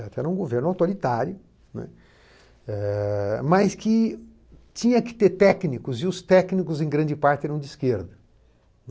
Era um governo autoritário, né, mas que tinha que ter técnicos e os técnicos, em grande parte, eram de esquerda.